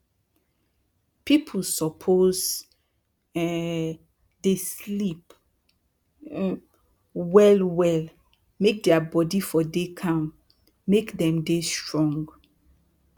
pipu suppose um dey sleep um well well make dia body for dey calm make dem dey strong